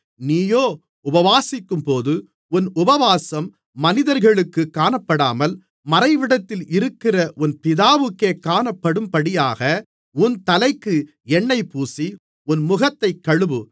நீயோ உபவாசிக்கும்போது உன் உபவாசம் மனிதர்களுக்குக் காணப்படாமல் மறைவிடத்தில் இருக்கிற உன் பிதாவுக்கே காணப்படும்படியாக உன் தலைக்கு எண்ணெய் பூசி உன் முகத்தைக் கழுவு